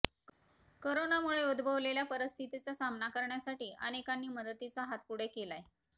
करोनामुळे उद्धभवलेल्या परिस्थितीचा सामना करण्यासाठी अनेकांनी मदतीचा हात पुढे केलाय